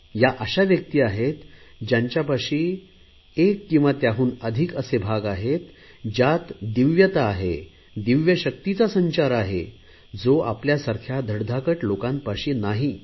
या अशा व्यक्ती आहेत ज्यांच्यापाशी मात्र किंवा त्याहून अधिक असे भाग आहेत ज्यात दिव्यता आहे दिव्यशक्तीचा संचार आहे जो आपल्या सारख्या धडधाकट लोकांपाशी नाही